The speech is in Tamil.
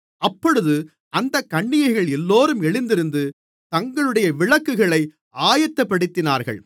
அப்பொழுது அந்தக் கன்னிகைகள் எல்லோரும் எழுந்திருந்து தங்களுடைய விளக்குகளை ஆயத்தப்படுத்தினார்கள்